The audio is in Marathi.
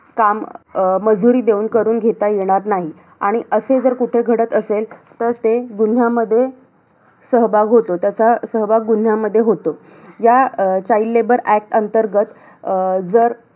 काम, अं मजुरी देऊन करून घेता येणार नाही. आणि असे जर कुठे घडत असेल तर ते गुन्ह्यामध्ये सहभाग होतो. त्याचा सहभाग गुन्ह्यामध्ये होतो. या अं child labour act अंतर्गत अं जर